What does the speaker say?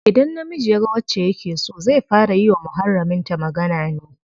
Idan namiji yaga wacce yake so, zai fara yi wa muharramin ta magana ne.